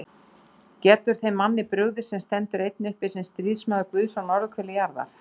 Getur þeim manni brugðið, sem stendur einn uppi sem stríðsmaður Guðs á norðurhveli jarðar?